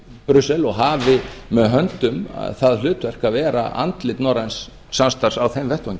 brussel og hafi með höndum það hlutverk að vera andlit norræns samstarfs á þeim vettvangi